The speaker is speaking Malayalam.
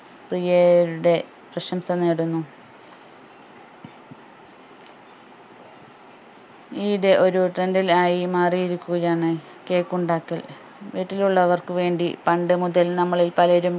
പ്രിയാരുരുടെ പ്രശംസ നേടുന്നു ഈ ഇടെ ഒര് trend ൽ ആയി മാറിയിരിക്കുകയാണ് cake ഉണ്ടാക്കൽ വീട്ടിലുള്ളവർക്ക് വേണ്ടി പണ്ടു മുതൽ നമ്മളിൽ പലരും